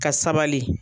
Ka sabali